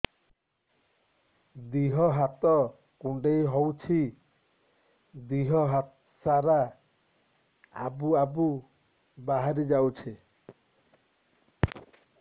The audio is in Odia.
ଦିହ ହାତ କୁଣ୍ଡେଇ ହଉଛି ଦିହ ସାରା ଆବୁ ଆବୁ ବାହାରି ଯାଉଛି